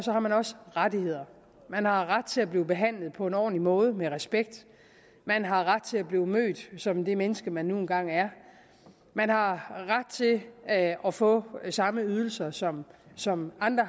har man også rettigheder man har ret til at blive behandlet på en ordentlig måde og med respekt man har ret til at blive mødt som det menneske man nu engang er man har ret til at at få samme ydelser som som andre